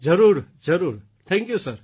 જરૂર જરૂર thank you